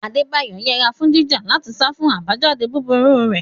Adebayo yẹra fún jíjà láti sá fún àbájáde burúkú rẹ̀.